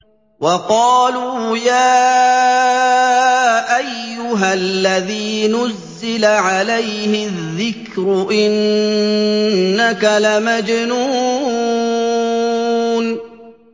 وَقَالُوا يَا أَيُّهَا الَّذِي نُزِّلَ عَلَيْهِ الذِّكْرُ إِنَّكَ لَمَجْنُونٌ